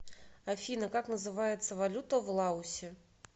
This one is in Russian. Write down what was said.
афина как называется валюта в лаосе